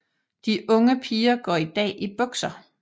De unge piger går i dag i bukser